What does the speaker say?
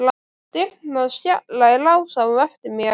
Dyrnar skella í lás á eftir mér.